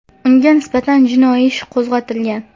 Unga nisbatan jinoiy ish qo‘zg‘atilgan.